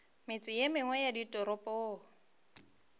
metse ye mengwe ya ditoropong